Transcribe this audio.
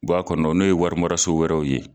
Bɔ a kɔnɔ n'o ye warimɛrɛsu wɛrɛw ye